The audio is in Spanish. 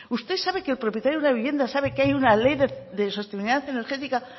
usted sabe que el propietario de una vivienda sabe que hay una ley de sostenibilidad energética